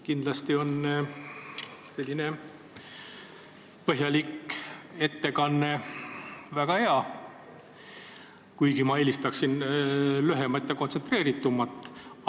Kindlasti on selline põhjalik ettekanne väga hea, kuigi ma eelistaksin lühemat ja kontsentreeritumat.